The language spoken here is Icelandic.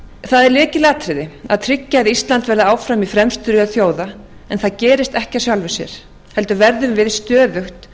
það er lykilatriði að tryggja að ísland verði áfram í fremstu röð þjóða en það gerist ekki af sjálfu sér heldur verðum við stöðugt